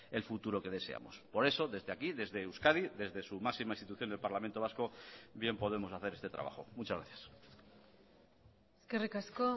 el futuro que deseamos por eso desde aquí desde euskadi desde su máxima institución del parlamento vasco bien podemos hacer este trabajo muchas gracias eskerrik asko